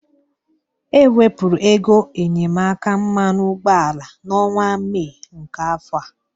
E wepụrụ ego enyemaka mmanụ ụgbọala n'ọnwa Mee nke afọ a.